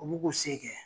U b'u k'u se kɛ